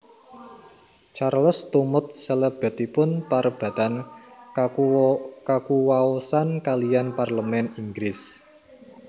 Charles tumut salebetipun parebatan kakuwaosan kaliyan Parlemèn Inggris